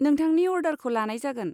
नोंथांनि अर्डारखौ लानाय जागोन।